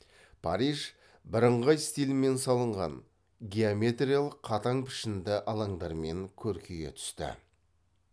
париж бірыңғай стильмен салынған геометриялық қатаң пішінді алаңдармен көркейе түсті